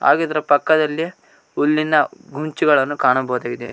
ಹಾಗು ಇದರ ಪಕ್ಕದಲ್ಲಿ ಹುಲ್ಲಿನ ಗುಂಚಗಳನ್ನು ಕಾಣಬಹುದಾಗಿದೆ.